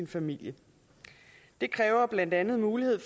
familie det kræver blandt andet en mulighed